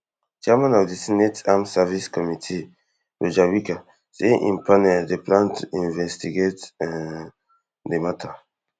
chairman of di senate armed services committee roger wicker say im panel dey plan to investigate um di matter